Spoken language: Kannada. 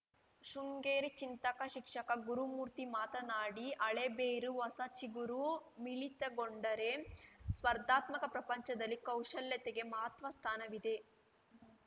ಶೃಂಗೇರಿ ಚಿಂತಕ ಶಿಕ್ಷಕ ಗುರುಮೂರ್ತಿ ಮಾತನಾಡಿ ಹಳೇಬೇರು ಹೊಸ ಚಿಗುರು ಮಿಳಿತಗೊಂಡರೆ ಸ್ಪರ್ಧಾತ್ಮಕ ಪ್ರಪಂಚದಲ್ಲಿ ಕೌಶಲ್ಯತೆಗೆ ಮಹತ್ವ ಸ್ಥಾನವಿದೆ